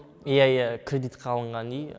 иә иә кредитқа алынған үй